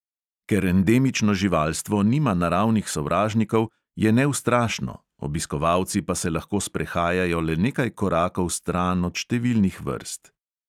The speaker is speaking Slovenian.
Ker endemično živalstvo nima naravnih sovražnikov, je neustrašno, obiskovalci pa se lahko sprehajajo le nekaj korakov stran od številnih vrst.